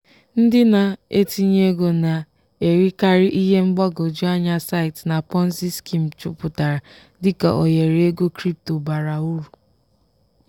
ndị na-etinye ego na-erikarị ihe mgbagwoju anya site na ponzi scheme juputara dika ohere ego crypto bara uru.